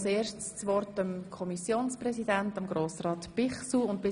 Als erstes hat der Kommissionspräsident der FiKo das Wort.